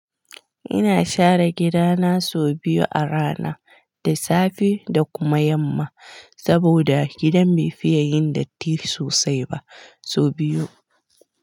Ina share gidana sau biyu a rana, da safe da kuma yamma, saboda gidan bai fiya yin datti sosai ba, sau biyu.